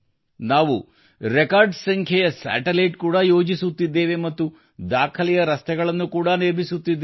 ನಾವು ದಾಖಲೆಯ ಸಂಖ್ಯೆಯ ಉಪಗ್ರಹ ಕೂಡಾ ಯೋಜಿಸುತ್ತಿದ್ದೇವೆ ಮತ್ತು ದಾಖಲೆಯ ರಸ್ತೆಗಳನ್ನು ಕೂಡಾ ನಿರ್ಮಿಸುತ್ತಿದ್ದೇವೆ